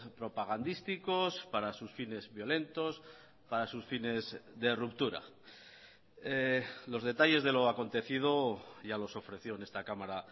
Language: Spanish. propagandísticos para sus fines violentos para sus fines de ruptura los detalles de lo acontecido ya los ofreció en esta cámara